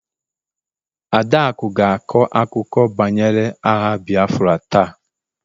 Adaaku ga-akọ akụkọ banyere agha Biafra taa